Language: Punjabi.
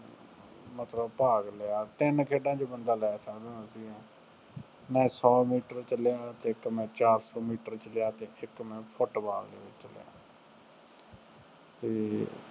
ਮਤਲਬ ਭਾਗ ਲਿਆ, ਤਿੰਨ ਖੇਡਾਂ ਚ ਬੰਦਾ ਲੈ ਸਕਦਾ ਸੀਗਾ ਮੈਂ ਸੋ ਮੀਟਰ ਚ ਲਿਆ ਅਤੇ ਇੱਕ ਮੈਂ ਚਾਰ ਸੌ ਮੀਟਰ ਚ ਲਿਆ ਅਤੇ ਇੱਕ ਮੈਂ ਫੁੱਟਬਾਲ ਅਤੇ